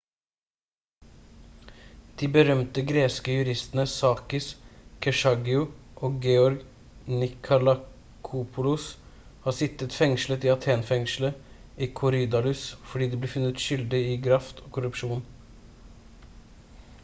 de berømte greske juristene sakis kechagiou og george nikolakopoulos har sittet fengslet i athen-fengselet i korydalus fordi de ble funnet skyldig i graft og korrupsjon